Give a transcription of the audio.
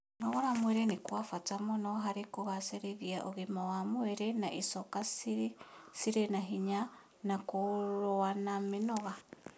Kũnogora mwĩrĩ nĩ gwa bata mũno harĩ kũgacĩrithia ũgima wa mwĩrĩ na icoka cirĩ na hinya na kũrũa na mĩnoga